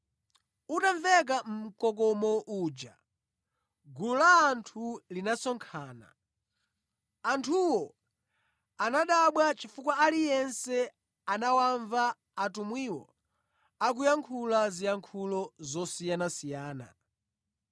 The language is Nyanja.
Utamveka mkokomo uja, gulu la anthu linasonkhana. Anthuwo anadabwa chifukwa aliyense anawamva atumwiwo akuyankhula ziyankhulo zosiyanasiyana.